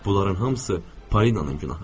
Bunların hamısı Polinanın günahıdır.